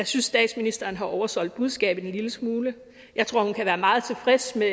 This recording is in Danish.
statsministeren har oversolgt budskabet en lille smule jeg tror at hun kan være meget tilfreds med